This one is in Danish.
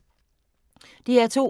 DR2